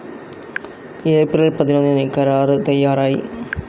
April പതിനൊന്നിന് കരാറു തയ്യാറായി.